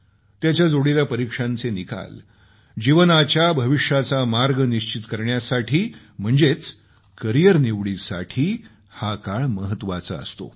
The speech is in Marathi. त्याच्या जोडीला परीक्षांचे निकाल जीवनाच्या भविष्याचा मार्ग निश्चित करण्यासाठी म्हणजेच करिअर निवडीसाठी हा काळ महत्वाचा असतो